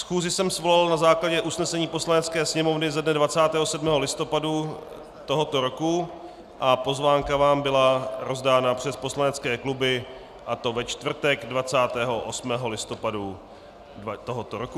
Schůzi jsem svolal na základě usnesení Poslanecké sněmovny ze dne 27. listopadu tohoto roku a pozvánka vám byla rozdána přes poslanecké kluby, a to ve čtvrtek 28. listopadu tohoto roku.